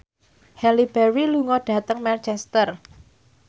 Halle Berry lunga dhateng Manchester